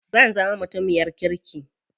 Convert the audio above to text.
Zan zama mutumiyar kirki.